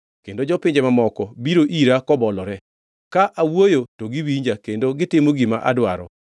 kendo jopinje mamoko biro ira kobolore, ka awuoyo to giwinja kendo gitimo gima adwaro.